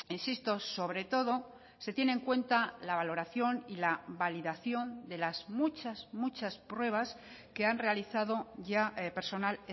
insisto sobre todo se tiene en cuenta la valoración y la validación de las muchas muchas pruebas que han realizado ya personal